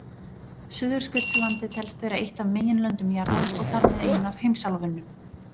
Suðurskautslandið telst vera eitt af meginlöndum jarðar og þar með ein af heimsálfunum.